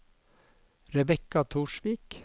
Rebecca Torsvik